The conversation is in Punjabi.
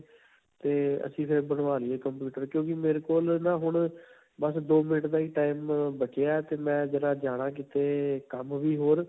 ਤੇ ਅਸੀ ਫਿਰ ਬਣਵਾ ਲਈਏ computer ਕਿਉੰਕਿ ਮੇਰੇ ਕੋਲ ਨਾ ਹੁਣ ਬਸ ਦੋ ਮਿੰਟ ਦਾ ਹੀ time ਅਅ ਬਚਿਆ ਹੈ ਤੇ ਮੈਂ ਜਰਾ ਜਾਣਾ ਕਿਤੇ ਕੰਮ ਵੀ ਹੋਰ.